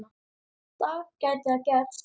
dag gæti það gerst.